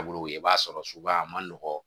Bolo i b'a sɔrɔ sugu ba man nɔgɔ